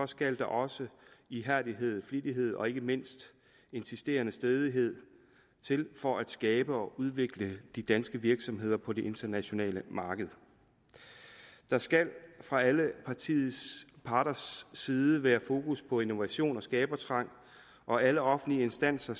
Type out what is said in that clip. skal der også ihærdighed og flittighed og ikke mindst insisterende stædighed til for at skabe og udvikle de danske virksomheder på det internationale marked der skal fra alle parters side være fokus på innovation og skabertrang og alle offentlige instanser